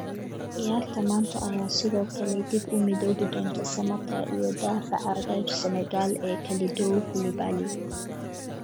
Ciyaarta maanta ayaa sidoo kale dib u midoobi doonta Samatta iyo daafaca reer Senegal ee Kalidou Koulibaly.